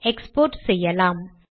export செய்யலாம்